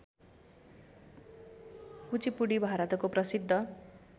कुचिपुडी भारतको प्रसिद्ध